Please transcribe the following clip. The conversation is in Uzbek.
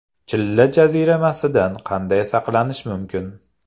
Chilla jaziramasidan qanday saqlanish mumkin?.